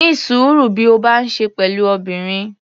Ní sùúrú bí o bá ń ṣe pẹ̀lú obìnrin.